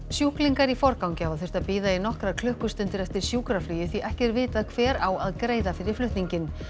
sjúklingar í forgangi hafa þurft að bíða í nokkrar klukkustundir eftir sjúkraflugi því ekki er vitað hver á að greiða fyrir flutninginn